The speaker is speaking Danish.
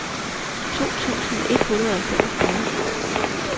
to tusind et hundrede og femogfyrre